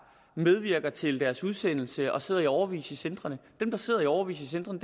medvirker til deres udsendelse som sidder i årevis i centrene dem der sidder i årevis i centrene